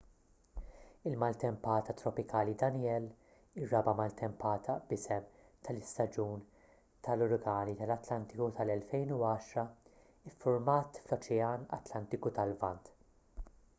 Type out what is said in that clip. il-maltempata tropikali danielle ir-raba' maltempata b'isem tal-istaġun tal-uragani tal-atlantiku tal-2010 iffurmat fl-oċean atlantiku tal-lvant